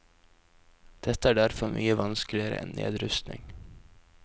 Dette er derfor mye vanskeligere enn nedrustning.